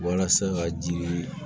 Walasa ka ji